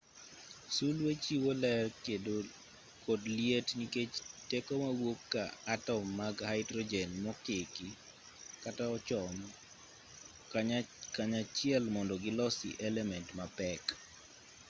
sulwe chiwo ler kod liet nikech teko mawuok ka atom mag haidrojen mokiki kata ochom kanyachiel mondo gilosi element mapek